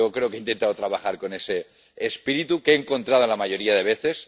Yo creo que he intentado trabajar con ese espíritu —que he encontrado la mayoría de las veces